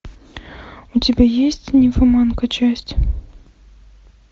у тебя есть нимфоманка часть